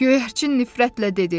Göyərçin nifrətlə dedi.